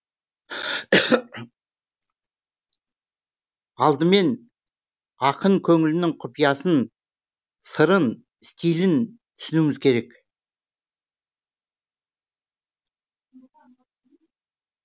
алдымен ақын көңілінің құпиясын сырын стилін түсінуіміз керек